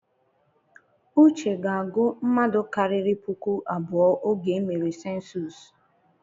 Uche ga-agu mmadụ karịrị puku abụọ oge emere sensus.